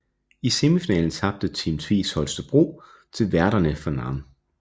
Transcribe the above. I semifinalen tabte Team Tvis Holstebro til værterne fra Nantes